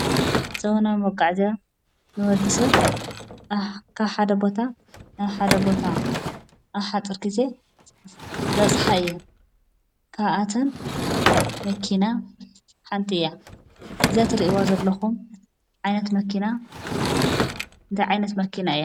ዘበናዊ መጓዓዝያ ንወዲሰብ ካብ ሓደ ቦታ ናብ ሓደ ቦታ ኣብ ሓፂር ግዜ ዘበፅሓ እየን ።ካብኣተን መኪና ሓንቲ እያ። እዛ ትሪእዋ ዘለኹም ዓይነት መኪና እንታይ ዓይነት መኪና እያ?